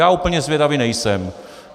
Já úplně zvědavý nejsem.